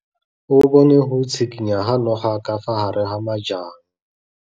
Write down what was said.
O bone go tshikinya ga noga ka fa gare ga majang.